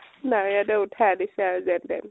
মায় হতে উঠাই আনিছে আৰু যেন তেন